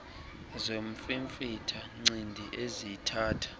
zomfimfitha ncindi eziyithatha